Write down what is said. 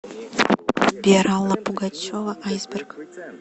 сбер алла пугачева айсберг